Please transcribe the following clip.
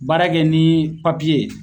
Baara kɛ ni ye